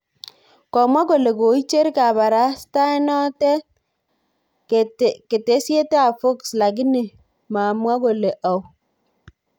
Komwa kole koicher kabarastaenoto ketesyetab Fox lakini mamwo kole au